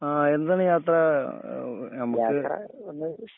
ആ എന്താണ് യാത്ര ആ ഹ് ഹ് നമുക്ക് ഒന്ന്